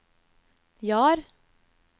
Jar